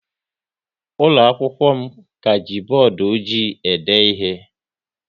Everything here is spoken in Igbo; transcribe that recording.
Ụlọ akwụkwọ m ka ji bọọdụ ọjị e de ihe